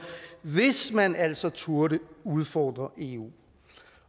hvis man altså turde udfordre eu